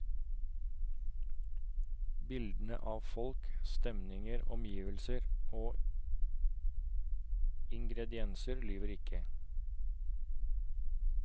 Bildene av folk, stemninger, omgivelser og ingredienser lyver ikke.